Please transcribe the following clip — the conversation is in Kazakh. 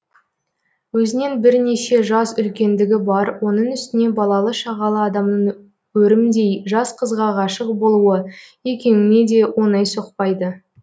өзінен бірнеше жас үлкендігі бар оның үстіне балалы шағалы адамның өрімдей жас қызға ғашық болуы екеуіңе де оңай соқпайды